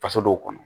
Faso dɔw kɔnɔ